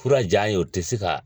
Fura jan ye o tɛ se ka